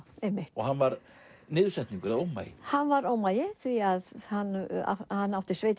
og hann var niðursetningur eða ómagi hann var ómagi því hann átti